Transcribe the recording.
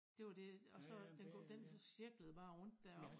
Det var dét og så den kunne den så cirklede bare rundt deroppe